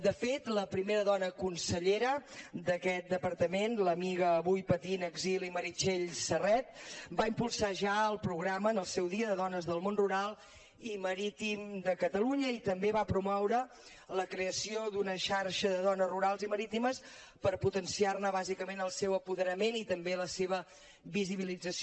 de fet la primera dona consellera d’aquest departament l’amiga avui patint exili meritxell serret va impulsar ja el programa en el seu dia de dones del món rural i marítim de catalunya i també va promoure la creació d’una xarxa de dones rurals i marítimes per potenciar ne bàsicament el seu apoderament i també la seva visibilització